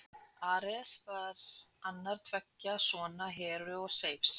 Ares var annar tveggja sona Heru og Seifs.